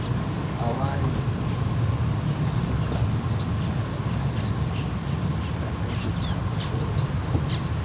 A ware ayyuka manya da ƙanana don rage cakuɗewar aiki..